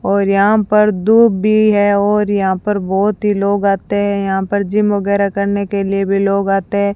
और यहां पर धूप भी है और यहां पर बहुत ही लोग आते हैं यहां पर जिम वगैरह करने के लिए भी लोग आते हैं।